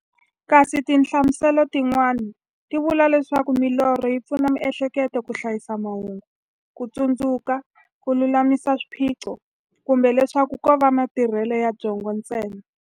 Kasi tinhlamuselo ti n'wana ti vula leswaku milorho yi pfuna mi'hleketo ka hlayisa mahungu, kutsundzuka, kululamisa swiphiqo, kumbe leswaku kova matirhele ya byongo ntsena.